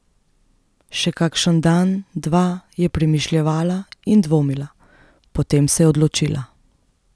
Še kakšen dan, dva je premišljevala in dvomila, potem se je odločila.